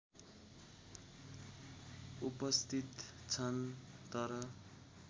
उपस्थित छन् तर